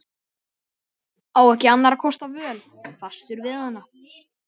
Á ekki annarra kosta völ, fastur við hana.